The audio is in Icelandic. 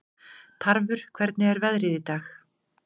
Tarfur, hvernig er veðrið í dag?